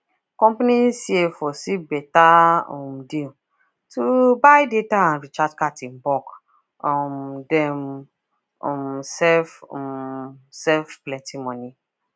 company cfo seal beta um deal to buy data and recharge card in bulk um dem um save um save plenty money